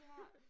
Ja